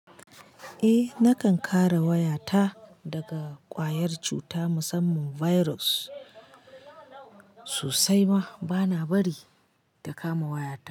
Eh, nakan kare wayata daga ƙwayar cuta musamman virus sosai ma bana bari ta kama wayata.